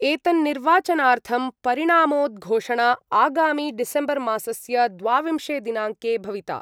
एतन्निर्वाचनार्थं परिणामोद्घोषणा आगामि डिसेम्बर्मासस्य द्वाविंशे दिनाङ्के भविता।